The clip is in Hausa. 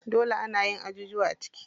Dole anayin ajujuwa a ciki.